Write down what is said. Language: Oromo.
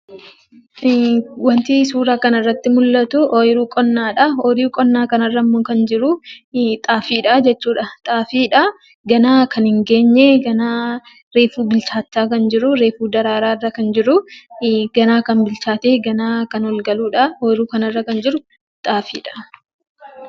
Wanti suuraa kana irratti mul'atu, ooyiruu qonnaadha. Ooyiruu qonnaa kanarrammoo kan jiru, xaafiidha. Ganaa kan hin geenye, ganaa reefu bilchaataa kan jiru reefu daraaraarra kan jiru ganaa kan bilchaatee ganaa kan ol galudha. Ooyiruu kanarra kan jiru xaafiidha.